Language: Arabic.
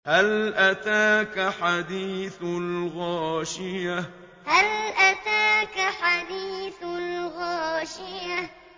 هَلْ أَتَاكَ حَدِيثُ الْغَاشِيَةِ هَلْ أَتَاكَ حَدِيثُ الْغَاشِيَةِ